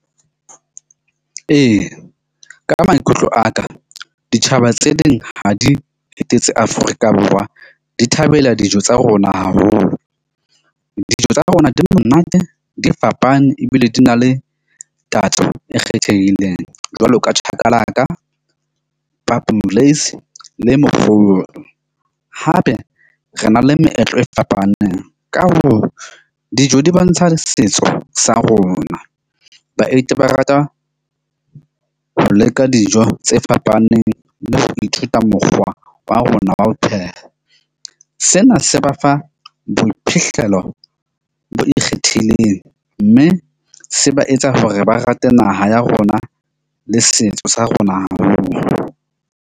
Ee, ka maikutlo a ka ditjhaba tse ding ha di etetse Afrika Borwa, di thabela dijo tsa rona haholo. Dijo tsa rona di monate di fapane ebile di na le tatso e kgethehileng jwalo ka chakalaka, le . Hape re na le meetlo e fapaneng. Ka hoo, dijo di bontsha setso sa rona. Baeti ba rata ho leka dijo tse fapaneng le ho ithuta mokgwa wa rona wa ho pheha. Sena se ba fa boiphihlelo bo ikgethileng. Mme se ba etsa ho re ba rate naha ya rona le setso sa rona haholo.